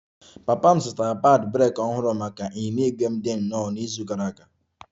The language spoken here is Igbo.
Papa m zụtara padi breeki ọhụrụ maka ịnyịnya ígwè m dị nnọọ n'izu gara aga